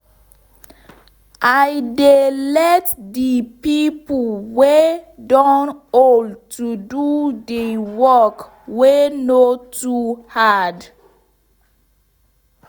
i dey let de pipo wey don old to dey do work wey nor too hard